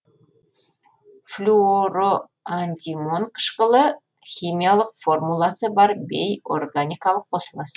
флюороантимон қышқылы химиялық формуласы бар бейорганикалық қосылыс